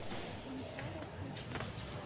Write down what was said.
сансара включи